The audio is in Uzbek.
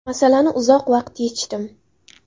Masalani uzoq vaqt yechdim.